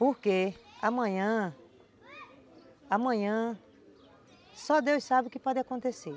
Porque amanhã, amanhã, só Deus sabe o que pode acontecer.